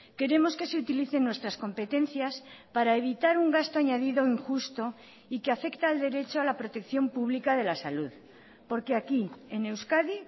queremos que se utilicen nuestras competencias para evitar un gasto añadido injusto y que afecta al derecho a la protección pública de la salud porque aquí en euskadi